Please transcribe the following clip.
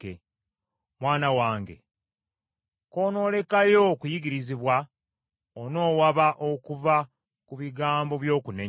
Mwana wange konoolekayo okuyigirizibwa, onoowaba okuva ku bigambo by’okumanya.